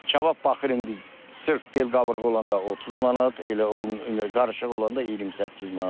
Kabab baxır indi sırf bel qavrığı olanda 30 manat, elə qarışıq olanda 28 manat.